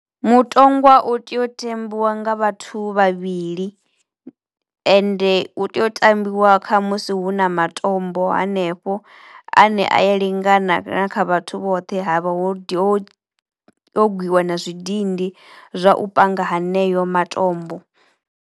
Mutongwa u tea u tambiwa nga vhathu vhavhili ende u tea u tambiwa khamusi hu na matombo hanefho ane a ya lingana na kha vhathu vhoṱhe. Ha vha ho ho ho gwiwa na zwidindi zwa u panga haneyo matombo.